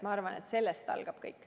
Ma arvan, et sellest algab kõik.